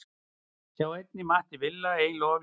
Sjá einnig: Matti Villa: Eiginlega of létt